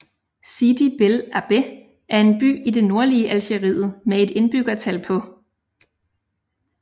Sidi Bel Abbès er en by i det nordlige Algeriet med et indbyggertal på